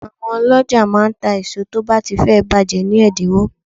Àwọn ọlọ́jà máa ń ta èso tó bá ti fẹ́ bàjẹ́ ni ẹ̀dínwó.